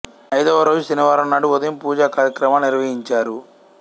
ఐదవ రోజు శనివారం నాడు ఉదయం పూజా కార్యక్రమాలు నిర్వహించారు